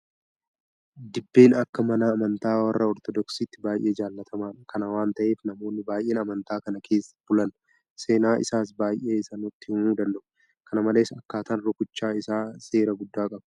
Dibbeen akka mana amantaa warra Ortodoksiitti baay'ee jaalatamaadha. Kana waanta ta'eef namoonni baay'een amantaa kana keessa bulan seenaa isaas baay'ee isaa nutti himuu danda'u. Kana malees akkaataan rukuchaa isaa seera guddaa qaba.